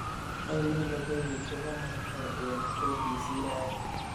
ainon logoiwek chegomok koyob k.b.c raini